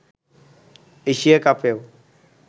Asia কাপেও